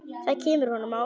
Það kemur honum á óvart.